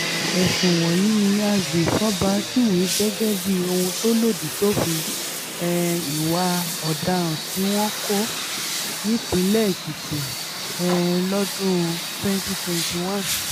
ẹ̀sùn wọ̀nyí ni agbèfọ́ba júwe gẹ́gẹ́ bíi ohun tó lòdì sófin um ìwà ọ̀daràn tí wọn kò nípìnlẹ̀ èkìtì um lọ́dún twenty twenty one